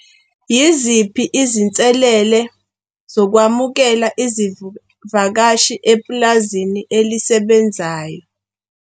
Yiziphi izinselele zokwamukela vakashi epulazini elisebenzayo?